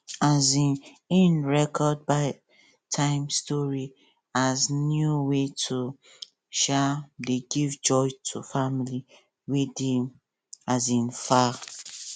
um im record bed time stories as new way to um dey give joy to family wey dey um far